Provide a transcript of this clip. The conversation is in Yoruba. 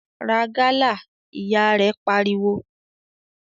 "Ra gálà!", Ìyá rẹ̀ pariwo.